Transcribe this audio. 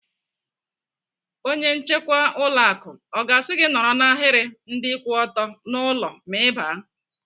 Onye nchekwa ụlọ akụ ọ ga-asị gị nọrọ n'ahiri ndị kwụ ọtọ n'ụlọ ma Ị baa?